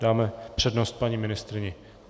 Dáme přednost paní ministryni.